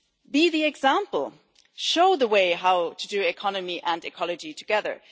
Be the example show the way to do economy and ecology together.